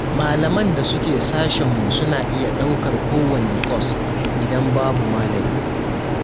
Malaman da suke sashenmu suna iya ɗaukar kowanne kwas, idan babu malamin.